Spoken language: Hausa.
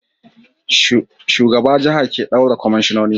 Shugaba jaha ke daura kwamishinoni